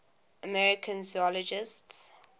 american zoologists